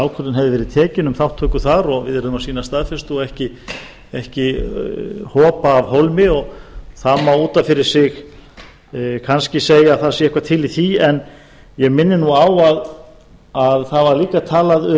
ákvörðun hefði verið tekin um þátttöku þar og við mættum ekki hopa af hólmi það er ef til vill rétt en ég minni á að einnig var talað